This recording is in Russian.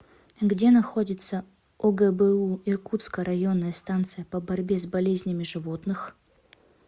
где находится огбу иркутская районная станция по борьбе с болезнями животных